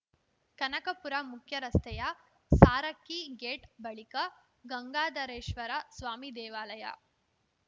ಕನಕಪುರ ಮುಖ್ಯರಸ್ತೆಯ ಸಾರಕ್ಕಿ ಗೇಟ್ ಬಳಿಕ ಗಂಗಾಧರೇಶ್ವರ ಸ್ವಾಮಿ ದೇವಾಲಯ